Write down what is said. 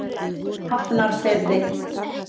Hafnarfirði